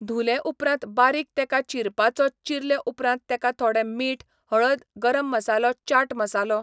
धुले उपरांत बारीक तेका चिरपाचो चिरले उपरांत तेका थोडें मीठ हळद गरम मसालो चाट मसालो